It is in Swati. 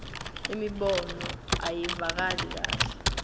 imibono ayivakali kahle